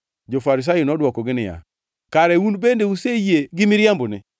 Jo-Farisai nodwokogi niya, “Kare un bende useyie gi miriambone.